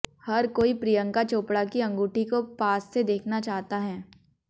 हर कोई प्रियंका चोपड़ा की अंगूठी को पास से देखना चाहता है